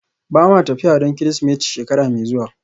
Ba ma tafiya don Kirsimeti shekara mai zuwa